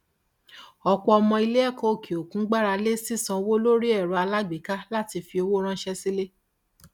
ọpọ ọmọ iléẹkọ òkè òkun gbára lé sí sísanwó lórí erò alágbèéká láti fi owó ránṣẹ sí ilé